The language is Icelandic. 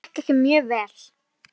Þetta gekk mjög vel.